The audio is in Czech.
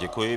Děkuji.